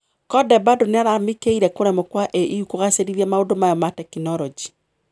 Conde bado niararamikeire kũremwo kwa AU kũgacerithia maũndu mayo ma teknoloji.